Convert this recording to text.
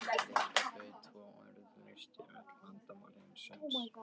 líkt og þau tvö orð leystu öll vandamál heimsins.